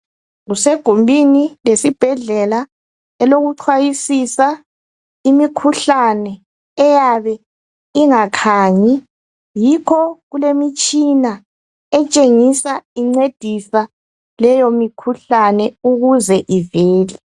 Kusegumbini lesibhedlela elokucwayisisa ngemikhuhlane eyabe ingakhanyi yikho kulemitshina etshengisa incedisa leyomikhuhlane ukuze ivele.